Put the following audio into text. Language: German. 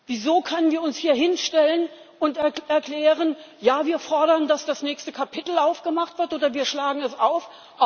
Wieso können wir uns hier hinstellen und erklären Ja, wir fordern, dass das nächste Kapitel aufgemacht wird oder wir schlagen es auf?